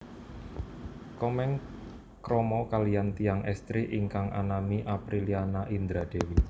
Komeng krama kaliyan tiyang estri ingkang anami Aprilliana Indra Dewi